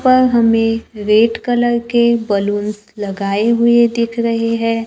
पर हमें red colour के बलूंस लगाए हुए दिख रहे हैं।